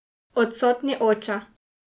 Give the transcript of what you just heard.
Odsotni oče.